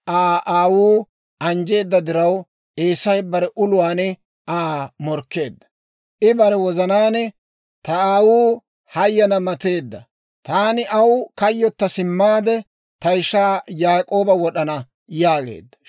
Yaak'ooba Aa aawuu anjjeedda diraw, Eesay bare uluwaan Aa morkkeedda; I bare wozanaan, «Ta aawuu hayana mateedda; taani aw kayyotta simmaade, ta ishaa Yaak'ooba wod'ana» yaageedda.